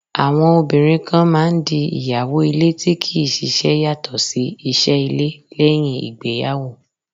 Àwọn obìnrin kan máà ń di ìyàwó ilé tí kì í ṣiṣẹ́ yàtọ̀ sí iṣẹ́ ilé, lẹ́uìn ìgbéyàwó.